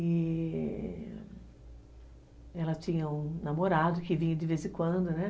E... ela tinha um namorado que vinha de vez em quando, né?